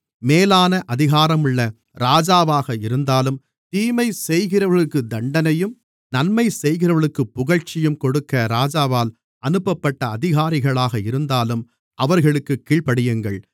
மேலான அதிகாரமுள்ள ராஜாவாக இருந்தாலும் தீமைசெய்கிறவர்களுக்கு தண்டனையும் நன்மைசெய்கிறவர்களுக்குப் புகழ்ச்சியும் கொடுக்க ராஜாவால் அனுப்பப்பட்ட அதிகாரிகளாக இருந்தாலும் அவர்களுக்குக் கீழ்ப்படியுங்கள்